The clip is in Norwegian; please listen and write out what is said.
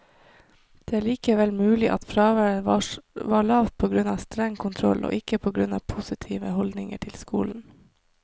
Det er likevel mulig at fraværet var lavt på grunn av streng kontroll, og ikke på grunn av positive holdninger til skolen.